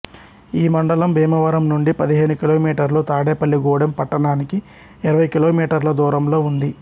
ఈ మండలం భీమవరం నుండి పదిహేను కిలోమీటర్లు తాడేపల్లి గూడెం పట్టణానికి ఇరవై కిలోమీటర్ల దూరంలో ఉంది